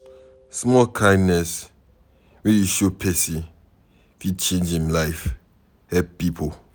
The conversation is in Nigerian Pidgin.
Small kindness wey you show pesin fit change em life, help pipo